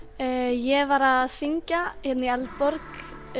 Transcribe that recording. ég var að syngja í Eldborg